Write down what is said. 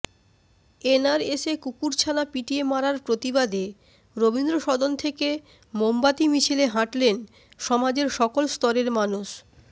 এনআরএসে কুকুরছানা পিটিয়ে মারার প্রতিবাদে রবীন্দ্রসদন থেকে মোমবাতি মিছিলে হাঁটলেন সমাজের সকল স্তরের মানুষ